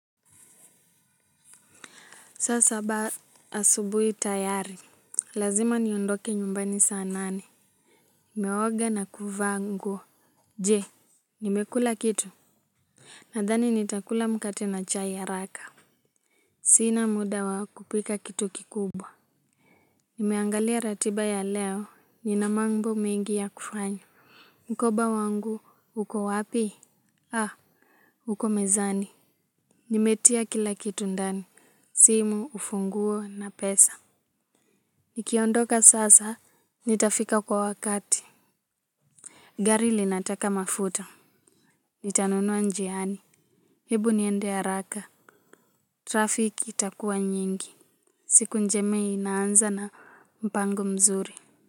Saa saba asubuhi tayari. Lazima niondoke nyumbani saa nane. Nimeoga na kuvaa nguo. Je, nimekula kitu. Nadhani nitakula mkate na chai haraka. Sina muda wa kupika kitu kikubwa. Nimeangalia ratiba ya leo. Nina manbo mengi ya kufanya. Mkoba wangu, uko wapi? Ha, huko mezani. Nimetia kila kitu ndani. Simu ufunguo na pesa. Nikiondoka sasa, nitafika kwa wakati. Gari linataka mafuta. Nitanunua njiani, hebu niende haraka. Trafiki itakua nyingi, siku njema inaanza na mpango mzuri.